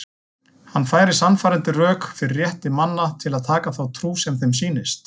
Hann færir sannfærandi rök fyrir rétti manna til að taka þá trú sem þeim sýnist.